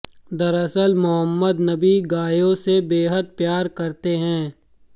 दरअसल मोहम्मद नबी गायों से बेहद प्यार करते हैं